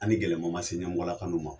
An' ni gɛlɛman ma se ɲɛmɔgɔlakalu ma.